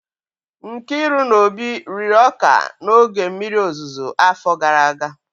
Nkiru na Obi riri ọka n'oge mmiri ozuzo, afọ gara aga